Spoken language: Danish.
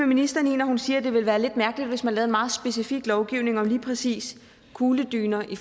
ministeren når hun siger at det ville være lidt mærkeligt hvis man lavede en meget specifik lovgivning om lige præcis kugledyner i